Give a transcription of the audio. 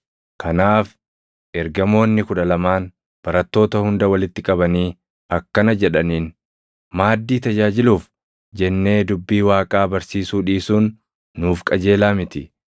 Kanaaf ergamoonni kudha lamaan barattoota hunda walitti qabanii akkana jedhaniin; “Maaddii tajaajiluuf jennee dubbii Waaqaa barsiisuu dhiisuun nuuf qajeelaa miti.